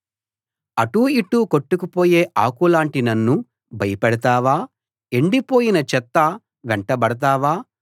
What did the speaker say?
అటూ ఇటూ కొట్టుకుపోయే ఆకులాంటి నన్ను భయపెడతావా ఎండిపోయిన చెత్త వెంటబడతావా